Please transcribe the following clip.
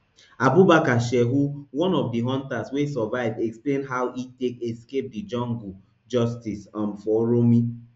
abubakar shehu one of di hunters wey survive explain how e take escape di jungle justice um for uromi